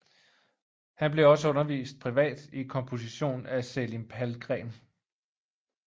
Han blev også undervist privat i komposition af Selim Palmgren